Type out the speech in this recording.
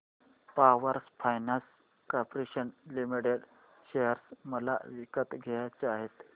power finance corporation limited share मला विकत घ्यायचे आहेत